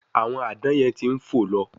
Àwọn Àdán yen tí ń fo ló